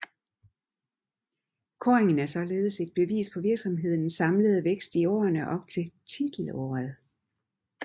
Kåringen er således et bevis på virksomhedens samlede vækst i årene op til titelåret